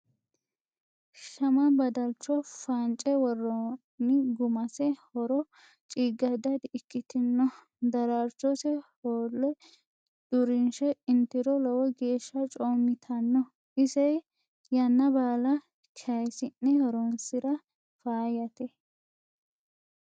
Shama badalcho faance woroni gumase horo cigada di'ikkitino darchose hoole durishe itiro lowo geeshsha coomittano ise yanna baalla kayisi'ne horonsira faayyate.